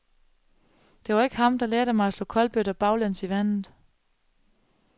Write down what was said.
Det var ikke ham, der lærte mig at slå kolbøtter baglæns i vandet.